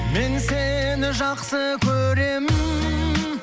мен сені жақсы көремін